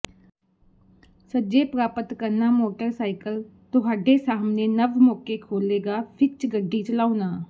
ਸੱਜੇ ਪ੍ਰਾਪਤ ਕਰਨਾ ਮੋਟਰਸਾਈਕਲ ਤੁਹਾਡੇ ਸਾਹਮਣੇ ਨਵ ਮੌਕੇ ਖੋਲ੍ਹੇਗਾ ਵਿੱਚ ਗੱਡੀ ਚਲਾਉਣ